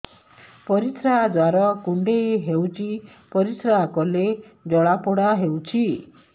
ପରିଶ୍ରା ଦ୍ୱାର କୁଣ୍ଡେଇ ହେଉଚି ପରିଶ୍ରା କଲେ ଜଳାପୋଡା ହେଉଛି